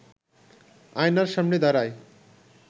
আয়নার সামনে দাঁড়ায়